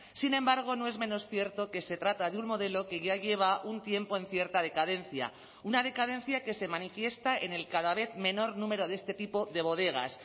sin embargo no es menos cierto que se trata de un modelo que ya lleva un tiempo en cierta decadencia una decadencia que se manifiesta en el cada vez menor número de este tipo de bodegas